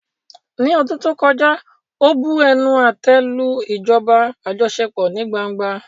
Ní ọdún tó kọjá, ó bu ẹnu àtẹ́ lu ìjọba àjọṣepọ̀ ní gbangba.